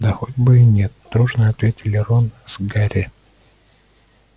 да хоть бы и нет дружно ответили рон с гарри